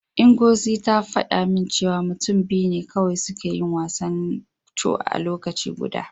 Ngozi ta faɗa min cewa mutum biyu ne kawai suke yin wasan Ncho a lokaci guda.